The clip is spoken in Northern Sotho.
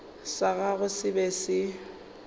sa gagwe se be se